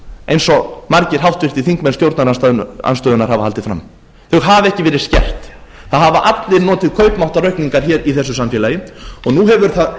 eins og margir háttvirtir þingmenn stjórnarandstöðunnar hafa haldið fram þau hafa ekki verið skert það hafa allir notið kaupmáttaraukningar hér í þessu samfélagi og nú hefur það